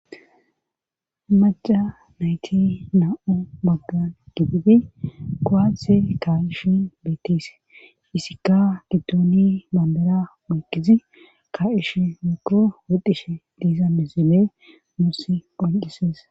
Maca nayti na'u baggan giphibi kowaatse kaa'ishi bettise isikka giddooni mandara muykizi ka'ish mukuro wodishe diiza misime mursi oncises.